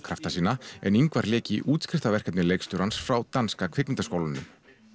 krafta sína en Ingvar lék í leikstjórans frá danska kvikmyndaskólanum